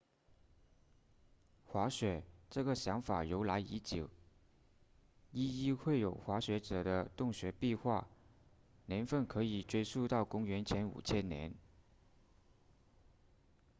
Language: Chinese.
滑雪这个想法由来已久绘有滑雪者的洞穴壁画年份可以追溯到公元前5000年